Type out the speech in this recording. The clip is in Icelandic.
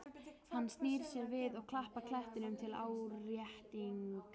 Hann snýr sér við og klappar klettinum til áréttingar.